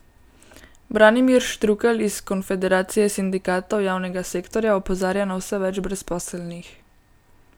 Branimir Štrukelj iz konfederacije sindikatov javnega sektorja opozarja na vse več brezposelnih.